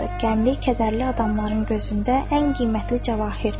Qəmli, kədərli adamların gözündə ən qiymətli cəvahir.